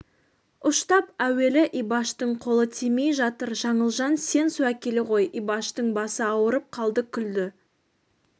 ұштап әуелі ибаштың қолы тимей жатыр жаңылжан сен су әкеле ғой ибаштың басы ауырып қалды күлді